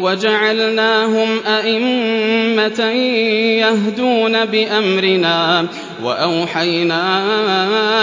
وَجَعَلْنَاهُمْ أَئِمَّةً يَهْدُونَ بِأَمْرِنَا وَأَوْحَيْنَا